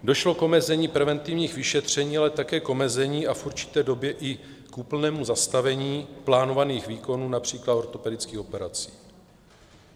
Došlo k omezení preventivních vyšetření, ale také k omezení a v určité době i k úplnému zastavení plánovaných výkonů, například ortopedických operací.